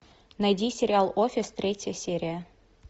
найди сериал офис третья серия